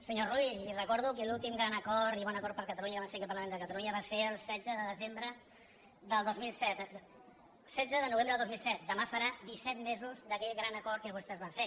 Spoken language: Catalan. senyor rull li recordo que l’últim gran acord i bon acord per a catalunya que van fer aquí al parlament de catalunya va ser el setze de novembre del dos mil set demà farà disset mesos d’aquell gran acord que vostès van fer